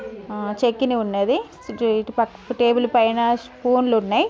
ఆ చట్నీ ఉన్నది. టేబుల్ పైన స్పూన్స్ ఉన్నాయి.